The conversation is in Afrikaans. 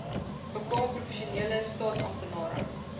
bekwame professionele staatsamptenare